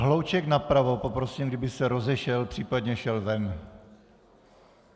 Hlouček napravo poprosím, kdyby se rozešel, případně šel ven!